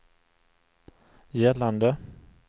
gällande